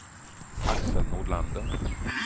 Axel Nordlander